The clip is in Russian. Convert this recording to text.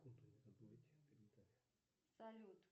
салют